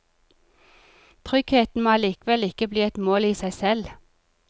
Trygghet må allikevel ikke bli et mål i seg selv.